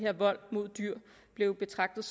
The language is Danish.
at vold mod dyr bliver betragtet